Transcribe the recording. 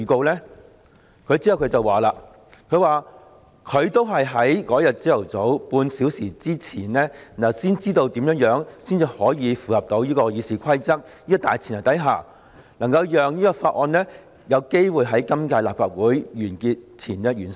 "然後，他表示自己都是在當日早上比大家早半小時知道如何可以在符合《議事規則》的大前提下，讓《條例草案》有機會在今屆立法會完結前完成。